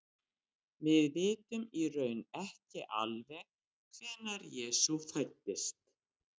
við vitum í raun ekki alveg hvenær jesú fæddist